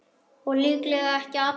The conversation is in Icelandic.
Og líklega ekki allra.